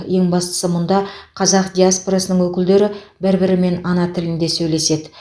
ең бастысы мұнда қазақ диаспорасының өкілдері бір бірімен ана тілінде сөйлеседі